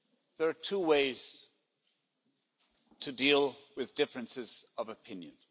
There are two ways to deal with differences of opinion.